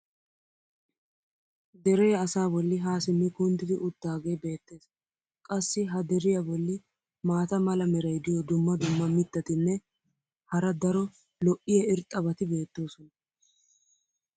Deree asaa boli haa simmi kunddidi utaagee beetees. qassi ha deriya boli maata mala meray diyo dumma dumma mitatinne hara daro lo'iya irxxabati beetoosona.